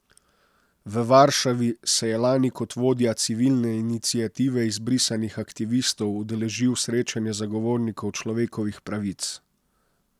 V Varšavi se je lani kot vodja Civilne iniciative izbrisanih aktivistov udeležil srečanje zagovornikov človekovih pravic.